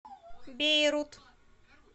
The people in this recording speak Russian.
бейрут